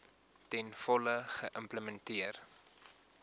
ten volle geïmplementeer